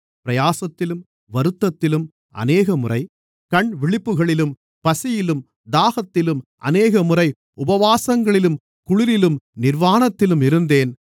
பிரயாசத்திலும் வருத்தத்திலும் அநேகமுறை கண்விழிப்புகளிலும் பசியிலும் தாகத்திலும் அநேகமுறை உபவாசங்களிலும் குளிரிலும் நிர்வாணத்திலும் இருந்தேன்